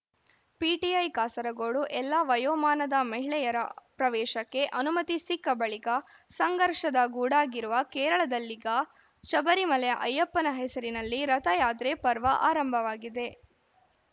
PTI Kasaragod ಎಲ್ಲಾ ವಯೋಮಾನದ ಮಹಿಳೆಯರ ಪ್ರವೇಶಕ್ಕೆ ಅನುಮತಿ ಸಿಕ್ಕ ಬಳಿಕ ಸಂಘರ್ಷದ ಗೂಡಾಗಿರುವ ಕೇರಳದಲ್ಲೀಗ ಶಬರಿಮಲೆಯ ಅಯ್ಯಪ್ಪನ ಹೆಸರಿನಲ್ಲಿ ರಥಯಾತ್ರೆ ಪರ್ವ ಆರಂಭವಾಗಿದೆ